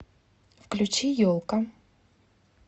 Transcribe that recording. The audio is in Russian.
включи елка